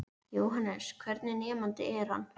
Jóhannes: Hvernig nemandi er hann?